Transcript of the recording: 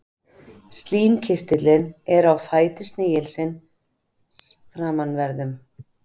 Slímkirtillinn er á fæti snigilsins framanverðum.